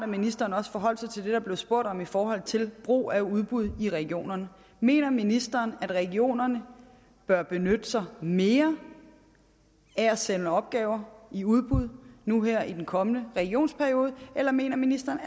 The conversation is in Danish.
ministeren også forholdt sig til det der blev spurgt om i forhold til brug af udbud i regionerne mener ministeren at regionerne bør benytte sig mere af at sende opgaver i udbud nu her i den kommende regionsperiode eller mener ministeren